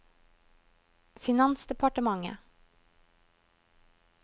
finansdepartementet